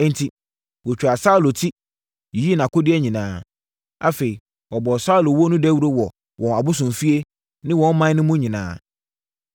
Enti, wɔtwaa Saulo ti, yiyii nʼakodeɛ nyinaa. Afei, wɔbɔɔ Saulo wuo no dawuro wɔ wɔn abosomfie, ne ɔman no mu nyinaa.